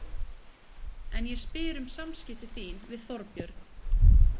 En ég spyr um samskipti þín við Þorbjörn.